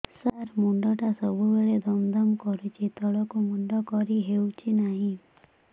ସାର ମୁଣ୍ଡ ଟା ସବୁ ବେଳେ ଦମ ଦମ କରୁଛି ତଳକୁ ମୁଣ୍ଡ କରି ହେଉଛି ନାହିଁ